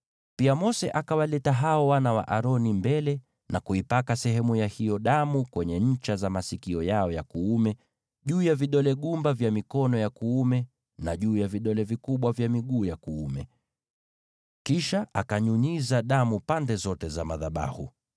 Pia Mose akawaleta hao wana wa Aroni mbele, akaipaka sehemu ya hiyo damu kwenye ncha za masikio yao ya kuume, juu ya vidole gumba vya mikono yao ya kuume, na juu ya vidole vikubwa vya miguu yao ya kuume. Kisha akanyunyiza damu pande zote za madhabahu.